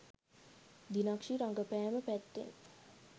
දිනක්ෂි රඟපෑම පැත්තෙන්